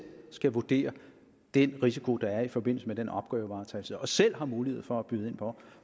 skal vurdere den risiko der er i forbindelse med den opgavevaretagelse og selv har mulighed for at byde ind på